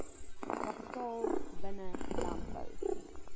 kapitaal binne landbou